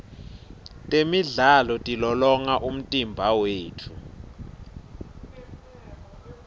temidlalo tilolonga umtimba wetfu